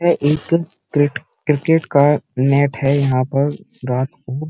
यह एक कृ क्रिकेट का मैंथ है यहाँ पर रात को।